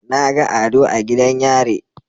Naga ado a gidan yare